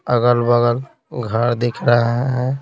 अगल-बगल घर दिख रहा है।